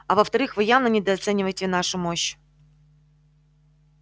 а во вторых вы явно недооцениваете нашу мощь